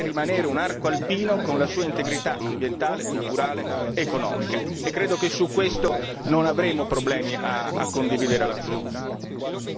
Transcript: È un arco alpino, deve rimanere un arco alpino con la sua integrità ambientale, culturale, economica e credo che su questo non avremo problemi a condividere l'azione.